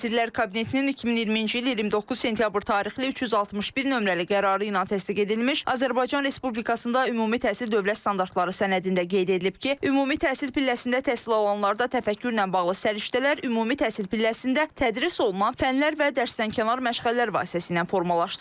Nazirlər Kabinetinin 2020-ci il 29 sentyabr tarixli 361 nömrəli qərarı ilə təsdiq edilmiş Azərbaycan Respublikasında ümumi təhsil dövlət standartları sənədində qeyd edilib ki, ümumi təhsil pilləsində təhsil alanlarda təfəkkürlə bağlı səriştələr ümumi təhsil pilləsində tədris olunan fənlər və dərsdənkənar məşğələlər vasitəsilə formalaşdırılır.